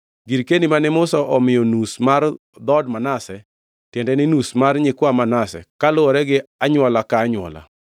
Girkeni mane Musa omiyo nus mar dhood Manase, tiende ni, nus mar nyikwa Manase, kaluwore gi anywola ka anywola.